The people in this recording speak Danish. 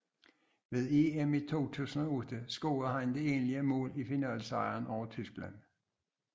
Ved EM i 2008 scorede han det enlige mål i finalesejren over Tyskland